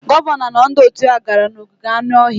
Gọvanọ na ndị òtù ya gara n'ogige anụ ọhịa.